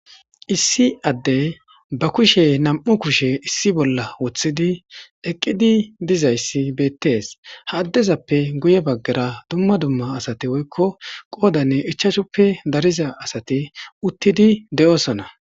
issi adde ba kushe nam7u kushe issi bolla woththidi eqqidi dizayssi beettees haaddezappe guye baggara dumma dumma asati woykko qoodanne ichashuppe dariza asati uttidi de7osona